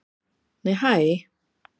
Nei hæ!